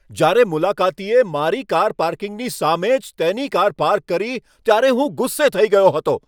જ્યારે મુલાકાતીએ મારી કાર પાર્કિંગની સામે જ તેની કાર પાર્ક કરી ત્યારે હું ગુસ્સે થઈ ગયો હતો.